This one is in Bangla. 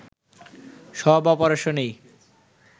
সব অপারেশনেই